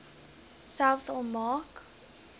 selfs al maak